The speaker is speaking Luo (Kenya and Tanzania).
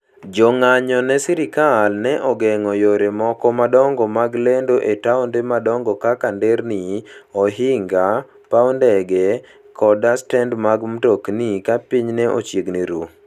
Jo ng'anyo ne sirkal ne ogeng'o yore moko madongo mag lendo e taonde madongo kaka nderni, ohinga, paw ndege, koda stend mag mtokni ka piny ne chiegni ru.